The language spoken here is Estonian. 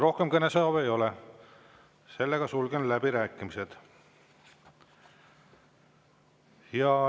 Rohkem kõnesoove ei ole, sulgen läbirääkimised.